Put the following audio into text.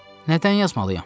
Nədən yazmalıyam?